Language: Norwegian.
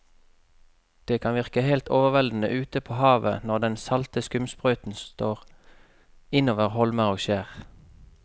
Det kan virke helt overveldende ute ved havet når den salte skumsprøyten slår innover holmer og skjær.